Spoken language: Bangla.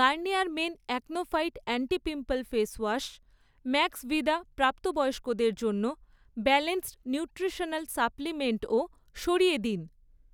Garnier men AcnoFight anti pimple face wash, Maxvida প্রাপ্তবয়স্কদের জন্য ব্যালান্সড নিউট্রিশনাল সাপ্লিমেন্টও সরিয়ে দিন।